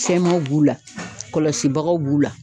Fɛnmanw b'u la kɔlɔsibagaw b'u la.